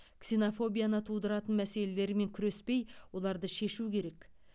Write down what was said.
ксенофобияны тудыратын мәселелермен күреспей оларды шешу керек